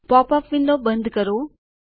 pop up window બંધ કરો